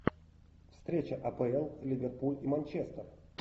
встреча апл ливерпуль и манчестер